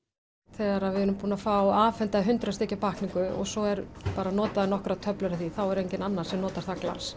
þegar við erum búin að fá afhenta hundrað stykkja pakkningu og svo eru bara notaðar nokkrar töflur af því þá er enginn annar sem notar það glas